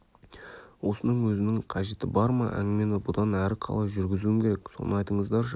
осының өзінің қажеті бар ма әңгімені бұдан әрі қалай жүргізуім керек соны айтыңыздаршы